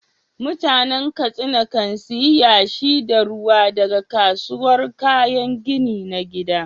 Mutanen Katsina kan sayi yashi da ruwa daga kasuwar kayan gini na gida.